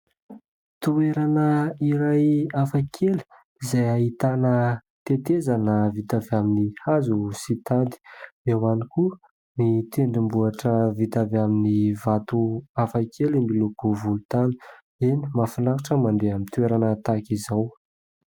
Toerana iray hafakely izay ahitana tetezana vita avy amin'ny hazo sy tady. Eo ihany koa ny tendrombohitra vita avy amin'ny vato hafakely miloko volontany. Eny ! Mahafinaritra mandeha amin'ny toerana tahaka izao.